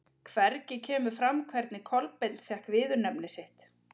Hvergi kemur fram hvernig Kolbeinn fékk viðurnefni sitt.